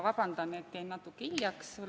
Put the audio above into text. Vabandust, et jäin natuke hiljaks!